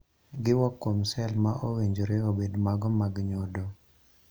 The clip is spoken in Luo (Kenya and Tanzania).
Giwuok kuom cell ma owinjore obed mago mag nyodo.